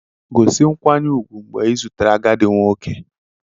Gosi nkwanye ùgwù mgbe ị zutere agadi nwoke